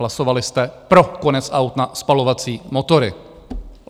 Hlasovali jste pro konec aut na spalovací motory.